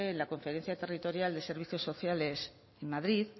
la conferencia territorial de servicios sociales en madrid